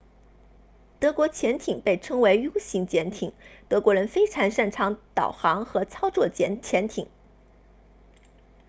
德国潜艇被称为 u 型潜艇德国人非常擅长导航和操作潜艇